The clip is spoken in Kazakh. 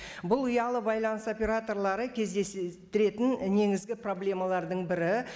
бұл ұялы байланыс операторлары кездестіретін негізгі проблемалардың бірі